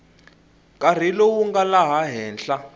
nkarhi lowu nga laha henhla